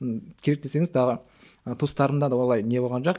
керек десеңіз туыстарымда да олай не болған жоқ